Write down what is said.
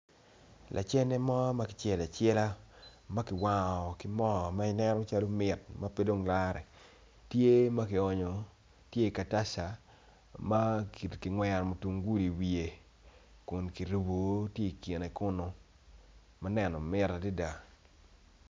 Lacene mo ma kicelo acela, ma kiwango moo ma nen calo mit ma pe wacce tye ma ki onyo tye i katacca ma kingwero kitungulu i wiye kun kirubu tye i kine kunu ma neno mit adada.